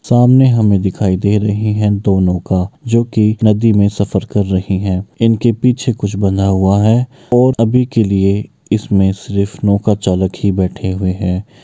सामने हमे दिखाई दे रही हैं दो नौका जो कि नदी में सफर कर रही हैं इनके पीछे कुछ बंधा हुआ हैं और अभी के लिए इसमें सिर्फ नौका चालक ही बैठे हुए हैं।